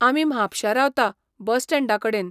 आमी म्हापशा रावता, बस स्टँडा कडेन.